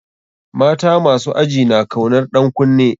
Mata masu aji na kaunar ɗan kunne.